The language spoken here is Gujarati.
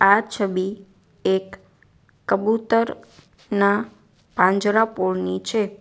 આ છબી એક કબૂતર નાં પાંજરાપોળની છે.